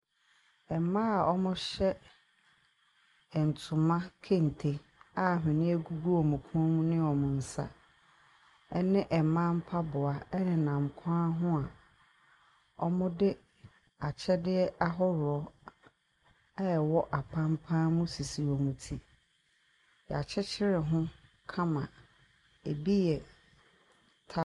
Mmaa a wɔhyɛ ntoma kente a ahwneɛ gugu wɔn kɔn mu ne wɔn nsa ne mmaa mpaboa nenam kwan ho a wɔde akyɛdeɛ ahodoɔ a ɛwɔ apampan mu sisi wɔn ti. Yɛakyekyere ho kama, ebi yɛ ta .